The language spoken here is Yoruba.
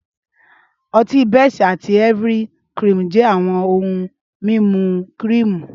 Ọtí best àti Ivory-cream jẹ́ àwọn ohun mímu kírììmù